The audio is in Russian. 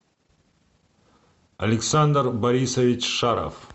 александр борисович шаров